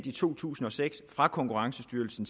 i to tusind og seks er fra konkurrencestyrelsen